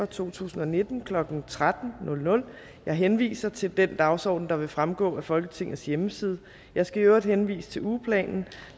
to tusind og nitten klokken tretten jeg henviser til den dagsorden der vil fremgå af folketingets hjemmeside jeg skal i øvrigt henvise til ugeplanen